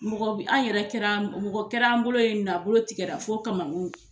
Mɔgɔ bi an yɛrɛ kɛra mɔgɔ kɛra an bolo yen nɔ , a bolo tikɛ la fo kamankun.